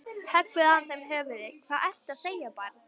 Höggvið af þeim höfuðið, hvað ertu að segja barn?